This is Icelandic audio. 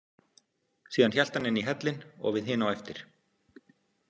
Síðan hélt hann inn í hellinn og við hin á eftir.